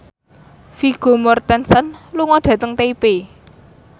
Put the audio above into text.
Vigo Mortensen lunga dhateng Taipei